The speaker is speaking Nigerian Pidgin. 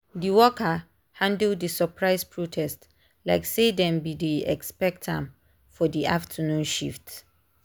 d worker handle the surprise protest like say dem be dey expect am for di afternoon shift.